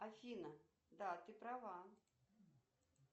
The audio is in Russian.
афина да ты права